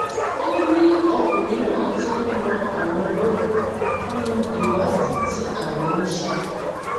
ó ní ọkùnrin náà ti ń ran àwọn lọwọ nínú ìwádìí tí àwọn ń ṣe